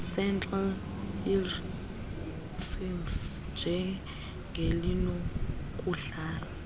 centres lrdcs njengelinokudlala